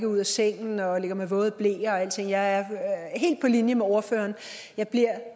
ud af sengen og at de ligger med våde bleer og alting jeg er helt på linje med ordføreren jeg bliver